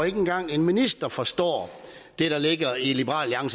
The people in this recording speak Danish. ikke engang en minister forstår det der ligger i liberal